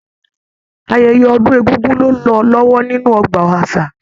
Ayẹyẹ ọdun egúngún lo n lọ lọwọ nínú ọgbà àṣà.